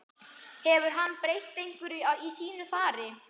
Hefur hann breytt einhverju í sínu fari?